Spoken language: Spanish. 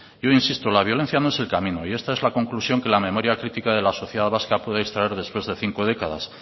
yo insisto la violencia no es el camino y esta es la conclusión que la memoria critica de la sociedad vasca puede extraer después de cinco décadas